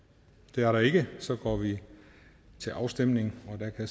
det er der ikke og så går vi til afstemning